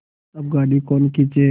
अब गाड़ी कौन खींचे